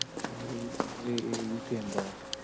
એ એ યુકે હંભાડે